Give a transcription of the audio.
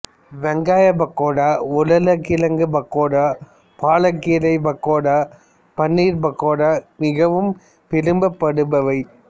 வெங்காய பக்கோடா உருளைக் கிழங்கு பக்கோடா பாலக்கீரை பக்கோடா பன்னீர் பக்கோடா மிகவும் விரும்பப்படுபவை